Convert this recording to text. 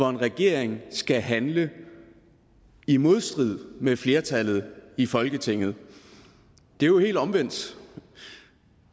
en regering skal handle i modstrid med flertallet i folketinget det er jo helt omvendt